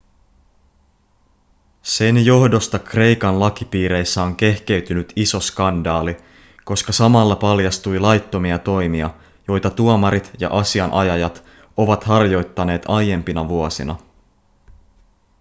sen johdosta kreikan lakipiireissä on kehkeytynyt iso skandaali koska samalla paljastui laittomia toimia joita tuomarit ja asianajajat ovat harjoittaneet aiempina vuosina